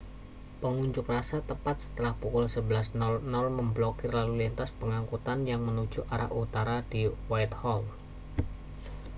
pengunjuk rasa tepat setelah pukul 11.00 memblokir lalu lintas pengangkutan yang menuju arah utara di whitehall